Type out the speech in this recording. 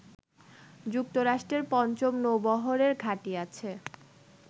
যুক্তরাষ্ট্রের পঞ্চম নৌবহরের ঘাঁটি আছে